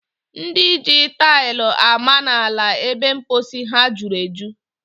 Ndị ji taili ama n'ala ebe mposi ha juru eju.